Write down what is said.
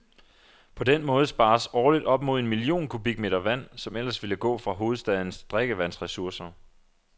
På den måde spares årligt op mod en million kubikmeter vand, som ellers ville gå fra hovedstadens drikkevandsressourcer.